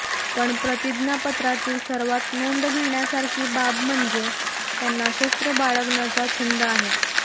पण प्रतिज्ञापत्रातील सर्वात नोंद घेण्यासारखी बाब म्हणजे त्यांना शस्त्र बाळगण्याचा छंद आहे